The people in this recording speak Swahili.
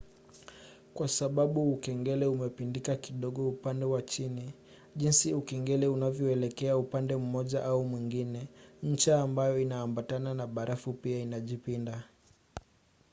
kwa sababu ukengele umepindika kidogo upande wa chini jinsi ukengele unavyoelekea upande mmoja au mwingine ncha ambayo inaambatana na barafu pia inajipinda